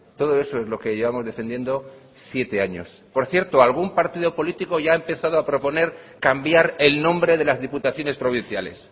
todo eso es lo que llevamos defendiendo siete años por cierto algún partido político ya ha empezado a proponer cambiar el nombre de las diputaciones provinciales